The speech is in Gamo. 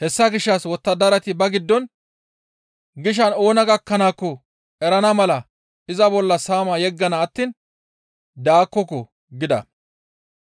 Hessa gishshas wottadarati ba giddon, «Gishan oona gakkanaakko erana mala iza bolla saama yeggana attiin daakkoko» gida;